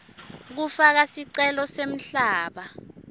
kufaka sicelo semhlaba